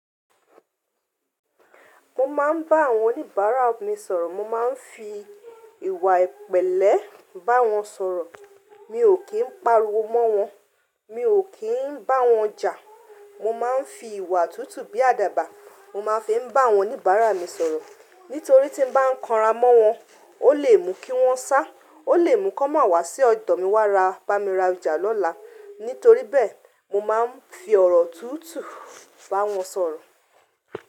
Mo máa ń bá àwọn oníbàárà mi sọ̀rọ̀, mo máa ń fi ìwà ìpẹ̀lẹ́ bá wọn sọ̀rọ̀. Mi ò kí ń pariwo mọ́n wọn, mi ò kí ń bá wọn jà. Mo máa ń fi ìwà tútù bí àdàbà. Mo máa fi n bá àwọn oníbàárà mi sọ̀rọ̀. Nítorí tí n bá ń kanra mọ́ wọn, ó lè mú kí wọ́n sá, ó lè mú kí wọ́n má wá sí ọ̀dọ̀ mi wá ra, bá mi ra ọjà lọ́la. Nítorí bẹ́ẹ̀, mo máa ń fi ọ̀rọ̀ tútù bá wọn sọ̀rọ̀